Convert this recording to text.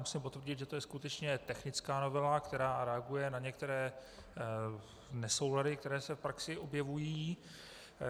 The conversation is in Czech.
Musím potvrdit, že je to skutečně technická novela, která reaguje na některé nesoulady, které se v praxi objevují.